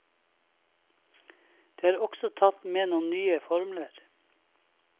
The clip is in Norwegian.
Det er også tatt med noen nye formler.